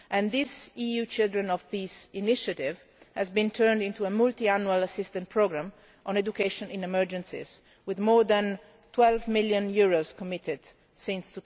This EU Children of Peace initiative has been turned into a multiannual assisted programme on education in emergencies with more than EUR 12 million committed since